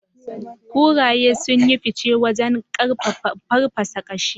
Kuraye sun yi fice wajen farfasa kashi.